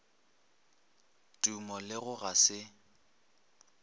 tumo le go ga se